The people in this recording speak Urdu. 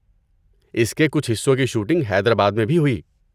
اس کے کچھ حصوں کی شوٹنگ حیدرآباد میں بھی ہوئی۔